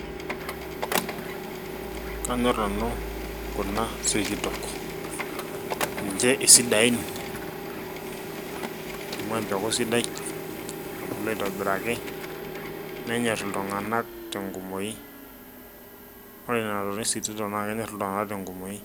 Kanyor nanu kuna sikitok ninche isidain amu empeku sidai natubulua aitobiraki nanyor iltung'anak tenkumoi ore nena tokin sikiton naa kenyor iltung'anak tenkumoi